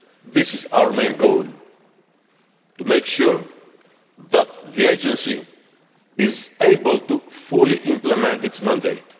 This is our main goal to make sure that the Agency is able to fully implement its mandate.